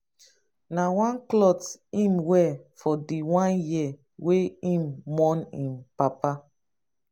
na one clot im wear for di one year wey im mourn im papa.